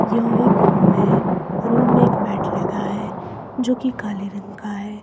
यहाँ एक रूम है रूम में एक बेड लगा है जो कि काले रंग का है।